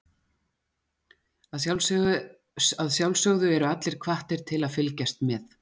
Að sjálfsögðu eru allir hvattir til að fylgjast með.